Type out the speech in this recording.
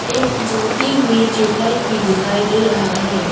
एक जलती हुई ट्यूबलाइट भी दिखाई दे रहा है।